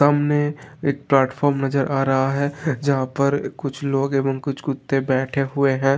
सामने एक प्लेटफार्म नजर आ रहा है जहां पर कुछ लोग एवं कुछ कुत्ते बैठे हुए हैं।